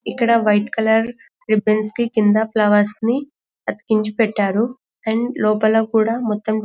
ఇక్కడ white colour ribbons కి కింద ఫ్లవర్స్ ని కించ పెట్టారు అండ్ లోపల కూడా ---